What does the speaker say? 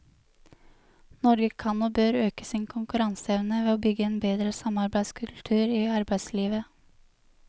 Norge kan og bør øke sin konkurranseevne ved å bygge en bedre samarbeidskultur i arbeidslivet.